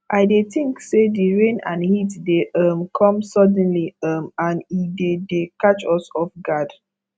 i dey think say di rain and heat dey um come suddenly um and e dey dey catch us off guard